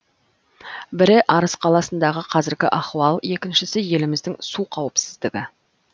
бірі арыс қаласындағы қазіргі ахуал екіншісі еліміздің су қауіпсіздігі